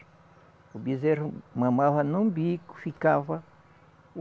O bezerro mamava num bico, ficava.